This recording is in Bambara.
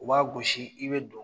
U b'a gosi i bɛ don